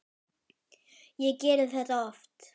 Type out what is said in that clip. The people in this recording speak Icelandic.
Ég geri þetta oft.